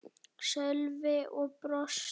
Sölvi og brosti.